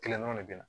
Kelen dɔrɔn de bɛ na